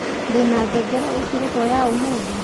ndina ngengere ikeretwo ya umuthi